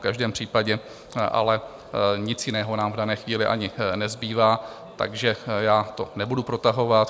V každém případě ale nic jiného nám v dané chvíli ani nezbývá, takže já to nebudu protahovat.